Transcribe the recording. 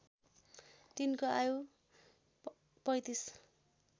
तिनको आयु ३५